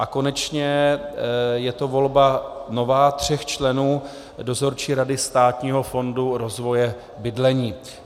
A konečně je to volba nová, tří členů Dozorčí rady Státního fondu rozvoje bydlení.